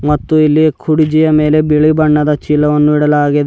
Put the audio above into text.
ಮತ್ತು ಇಲ್ಲಿ ಕುರ್ಚಿಯ ಮೇಲೆ ಬಿಳಿ ಬಣ್ಣದ ಚೀಲವನ್ನು ಇಡಲಾಗಿದೆ.